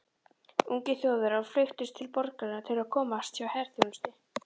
Ungir Þjóðverjar flykktust til borgarinnar til að komast hjá herþjónustu.